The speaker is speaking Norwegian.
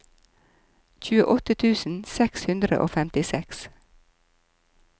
tjueåtte tusen seks hundre og femtiseks